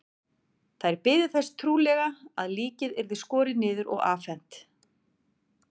Þær biðu þess trúlega að líkið yrði skorið niður og afhent.